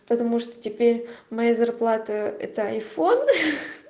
потому что теперь моя зарплата это айфон